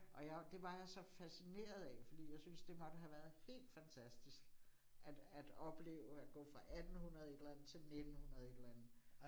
Og jeg, det var jeg så fascineret af fordi jeg syntes, det måtte have været helt fantastisk at at opleve, at gå fra 1800 et eller andet til 1900 et eller andet